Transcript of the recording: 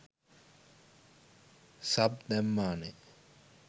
Sub දැම්මානෙ.